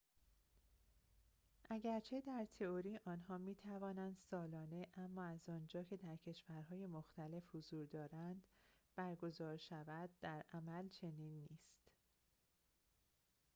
اگرچه در تئوری آنها می توانند سالانه اما از آنجا که در کشورهای مختلف حضور دارند برگزار شوند، در عمل چنین نیست